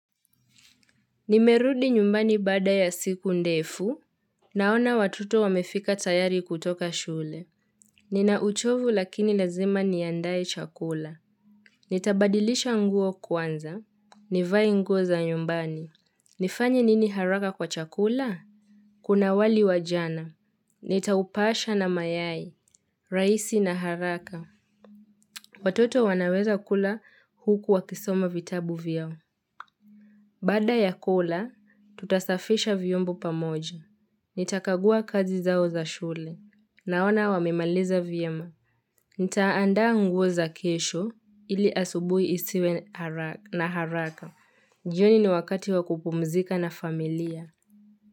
Nimerudi nyumbani baada ya siku ndefu Naona watoto wamefika tayari kutoka shule Ninauchovu lakini lazima niandaye chakula Nitabadilisha nguo kwanza nivai nguo za nyumbani nifanya nini haraka kwa chakula? Kuna wali wajana Nitaupasha na mayai raisi na haraka Watoto wanaweza kula huku wa kisoma vitabu vyao Bada ya kula, tutasafisha vyombo pamoja. Nitakagua kazi zao za shule. Naona wamemaliza vyema. Nitaandaa nguo za kesho ili asubui isiwe na haraka. Jioni ni wakati wakupumzika na familia.